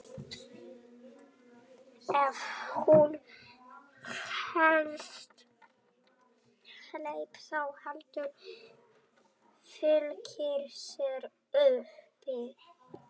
Ef hún helst heil þá heldur Fylkir sér uppi.